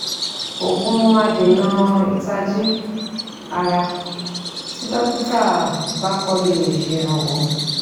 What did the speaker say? Òògùn adènà ìtají ara tí dọ́kítà bá kọ lẹ̀ ṣèrànwọ́